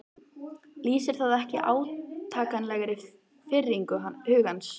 Lýsir það ekki átakanlegri firringu hugans?